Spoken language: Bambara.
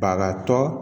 Bagatɔ